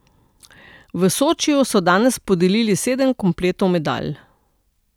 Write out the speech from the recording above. V Sočiju so danes podelili sedem kompletov medalj.